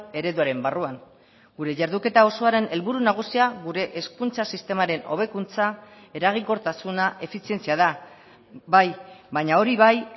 ereduaren barruan gure jarduketa osoaren helburu nagusia gure hezkuntza sistemaren hobekuntza eraginkortasuna efizientzia da bai baina hori bai